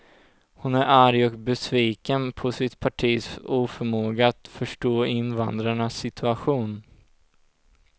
Hon är arg och besviken på sitt partis oförmåga att förstå invandrarnas situation.